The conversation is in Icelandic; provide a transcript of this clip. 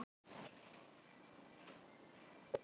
Skaðabótamál á hendur bankastjórum